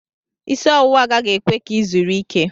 Isi ọwụwa agaghị ekwe ka ị zuru ike.